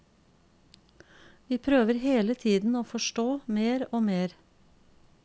Vi prøver hele tiden å forstå mer og mer.